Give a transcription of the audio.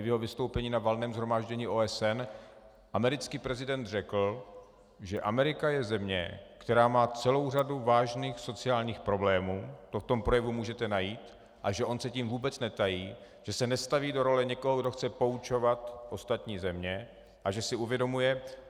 I ve svém vystoupení na Valném shromáždění OSN americký prezident řekl, že Amerika je země, která má celou řadu vážných sociálních problémů, to v tom projevu můžete najít, a že on se tím vůbec netají, že se nestaví do role někoho, kdo chce poučovat ostatní země, a že si uvědomuje...